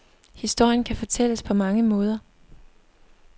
Historien kan fortælles på mange måder.